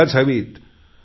व्हायलाच हवीत